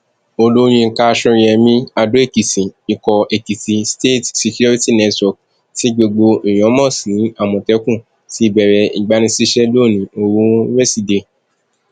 olùyinka sóyemí adóèkìtì ikọ èkìtì state security network tí gbogbo èèyàn mọ sí àmọtẹkùn ti bẹrẹ ìgbanisíṣẹ lónìí ooru wíṣèdèe